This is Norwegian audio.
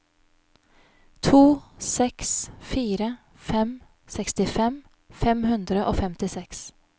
to seks fire fem sekstifem fem hundre og femtiseks